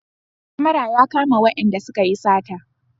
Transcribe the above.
Kamara ya kama wayanda suka yi sata